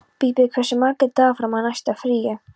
Bíbí, hversu margir dagar fram að næsta fríi?